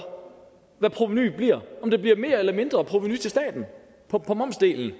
hvad provenuet bliver om der bliver mere eller mindre provenu til staten på på momsdelen og